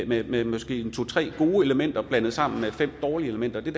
med med måske to tre gode elementer blandet sammen med fem dårlige elementer det